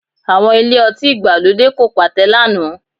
Àwọn ilé-ọtí ìgbàlódé kò pàtẹ lánàá